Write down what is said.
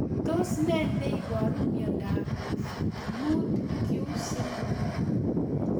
Tos nee neiparu miondop 5q syndrome